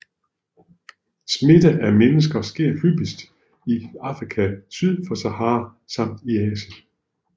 Smitte af mennesker sker hyppigst i Afrika syd for Sahara samt i Asien